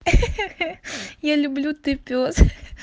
хи-хи я люблю ты пёс